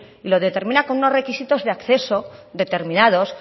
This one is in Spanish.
y lo determina con unos requisitos de acceso determinados